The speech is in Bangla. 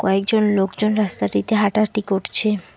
একজন লোকজন রাস্তাটিতে হাঁটাহাঁটি করছে।